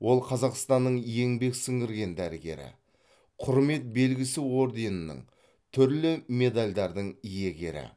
ол қазақстанның еңбек сіңірген дәрігері құрмет белгісі орденінің түрлі медальдардың иегері